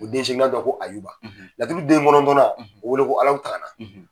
O den seeginan tɔgɔ ko Ayuba, laturu den kɔnɔntɔnnan o bɛ wele ko Alahu Tahala.